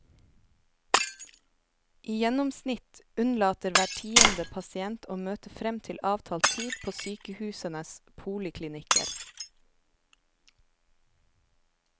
I gjennomsnitt unnlater hver tiende pasient å møte frem til avtalt tid på sykehusenes poliklinikker.